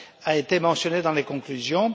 a été mentionnée dans les conclusions.